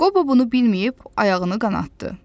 Qobo bunu bilməyib ayağını qanatdı.